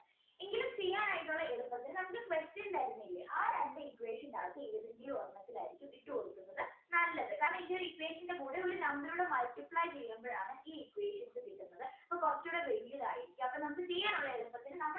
എളുപ്പത്തിന് നമുക്ക് question തരുന്നില്ല ആ രണ്ട് equation അകത്ത് ഏതെങ്കിലും ഒരെണ്ണത്തിൽ ആയിരിക്കും ഇട്ടുകൊടുക്കുന്നത് നല്ലത് കാരണം ഇതിൻറെ ഒരു equation ൻറെ കൂടെ ഒരു number കൂടെ multiply ചെയ്യുമ്പോഴാണ് ഈ equations കിട്ടുന്നത് അപ്പൊ കുറച്ചുകൂടെ വലുതായി അപ്പൊ നമുക്ക് ചെയ്യാനുള്ള എളുപ്പത്തിന്